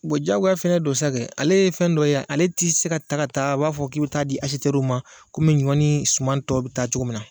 diyagoya de fɛnɛ don sa kɛ, ale ye fɛn dɔ ye ale tɛ se ka taa ka taa b'a fɔ k'i bɛ taa di ma komi ɲɔ ni suman tɔw bɛ taa cogo min na.